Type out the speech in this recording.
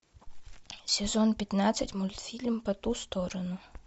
сезон пятнадцать мультфильм по ту сторону